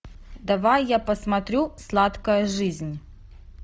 давай я посмотрю сладкая жизнь